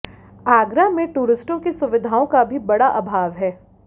आगरा में टूरिस्टों की सुविधाओं का भी बड़ा आभाव है